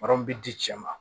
bɛ di cɛ ma